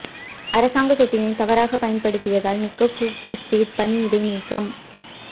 அரசாங்க சொத்தினை தவறாக பயன்படுத்தியதால் நிக் கூக் பிரிஸ்ட் பணி இடைநீக்கம்